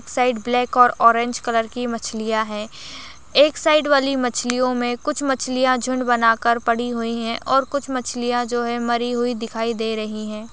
Side black और orange colour की मछलियां है एक साइड वाली मछलियों में कुछ मछलियां झुंड बनाकर पड़ी हुई है और कुछ मछलियां जो है मरी हुई दिखाई दे रही है।